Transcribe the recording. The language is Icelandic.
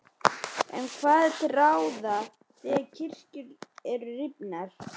En hvað er til ráða þegar kirkjur eru rifnar?